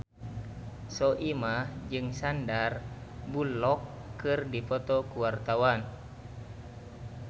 Soimah jeung Sandar Bullock keur dipoto ku wartawan